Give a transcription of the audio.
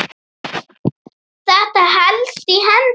Þetta helst í hendur.